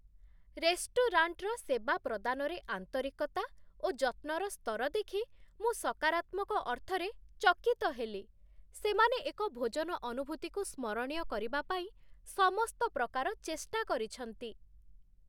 ରେଷ୍ଟୁରାଣ୍ଟର ସେବା ପ୍ରଦାନରେ ଆନ୍ତରିକତା ଓ ଯତ୍ନର ସ୍ତର ଦେଖି ମୁଁ ସକାରାତ୍ମକ ଅର୍ଥରେ ଚକିତ ହେଲି, ସେମାନେ ଏକ ଭୋଜନ ଅନୁଭୂତିକୁ ସ୍ମରଣୀୟ କରିବା ପାଇଁ ସମସ୍ତ ପ୍ରକାର ଚେଷ୍ଟା କରିଛନ୍ତି।